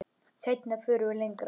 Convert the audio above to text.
Seinna förum við lengra.